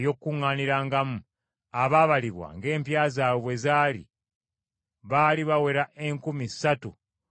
abaabalibwa ng’empya zaabwe bwe zaali baali bawera enkumi ssatu mu ebikumi bibiri (3,200).